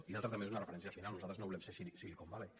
i l’altre també és una referència final nosaltres no volem ser silicon valley